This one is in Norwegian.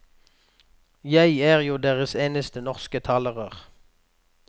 Jeg er jo deres eneste norske talerør.